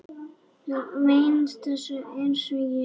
Þú venst þessu einsog ég.